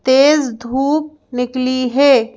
तेज धूप निकली है।